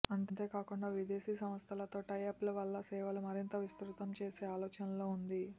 అంతేకాకుండా విదేశీ సంస్థలతో టైఅప్ల వల్ల సేవలు మరింత విస్తృతం చేసే ఆలోచనలో ఉంది